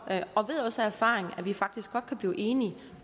og ved også af erfaring at vi faktisk godt kan blive enige